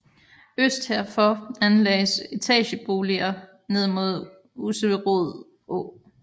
Øst herfor anlagdes etageboliger ned mod Usserød Å